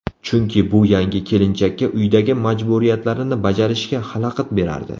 Chunki bu yangi kelinchakka uydagi majburiyatlarini bajarashiga xalaqit berardi.